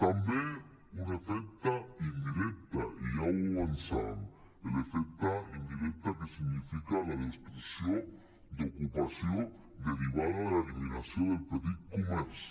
també un efecte indirecte i ja l’avançàvem l’efecte indirecte que significa la destrucció d’ocupació derivada de l’eliminació del petit comerç